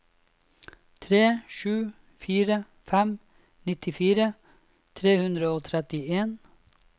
tre sju fire fem nittifire tre hundre og trettien